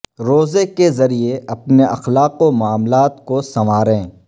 روزے کے ذریعے اپنے اخلاق و معاملات کو سنواریں